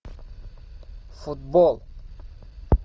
футбол